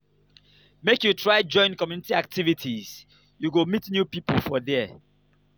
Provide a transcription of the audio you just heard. make you try join community activities you go meet new pipo for there.